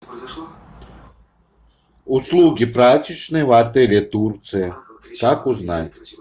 услуги прачечной в отеле турция как узнать